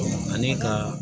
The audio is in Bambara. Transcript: Ani ka